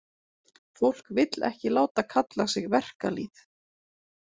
Fólk vill ekki láta kalla sig verkalýð.